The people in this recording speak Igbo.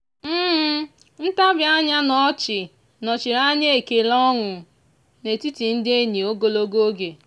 ntabi anya na ọchị nọchiri anya ekele ọnụ n'etiti ndị enyi ogologo oge.